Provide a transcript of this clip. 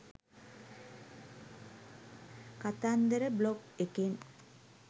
කතන්දර බ්ලොග් එකෙන්